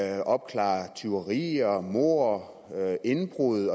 at opklare tyverier mord indbrud